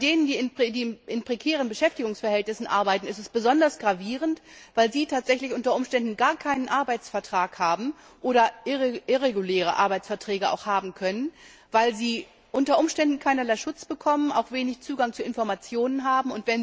Bei den Frauen, die in prekären Beschäftigungsverhältnissen arbeiten, ist es besonders gravierend, weil sie unter Umständen gar keinen Arbeitsvertrag haben oder auch irreguläre Arbeitsverträge haben können, weil sie möglicherweise keinerlei Schutz bekommen und auch wenig Zugang zu Informationen haben.